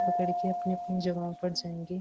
पकड़ के अपनी अपनी जगहों पर जाएंगे।